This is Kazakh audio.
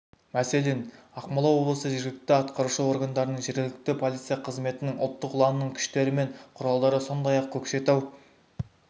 мәселен ақмола облысы жергілікті атқарушы органдарының жергілікті полиция қызметінің ұлттық ұланның күштері мен құралдары сондай-ақ көкшетау